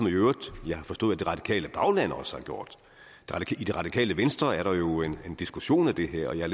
i øvrigt har forstået at det radikale bagland også har gjort i det radikale venstre er der jo en diskussion af det her jeg